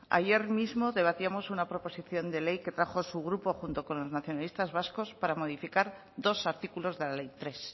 ayer mismo debatíamos una proposición de ley que trajo su grupo junto con los nacionalistas vascos para modificar dos artículos de la ley tres